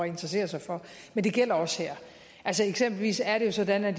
interessere sig for men det gælder også her eksempelvis er det jo sådan at